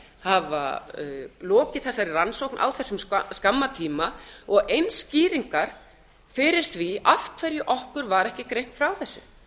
hafa lokið þessari rannsókn á þessum skamma tíma og eins skýringar fyrir því af hverju okkur var ekki greint frá